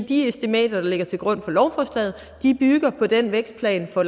de estimater der ligger til grund for lovforslaget bygger på den vækstplan for